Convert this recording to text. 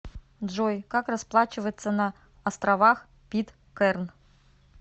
джой как расплачиваться на островах питкэрн